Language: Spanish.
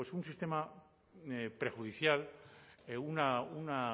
una bueno pues un sistema prejudicial una